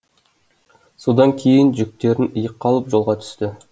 содан кейін жүктерін иыққа алып жолға түсті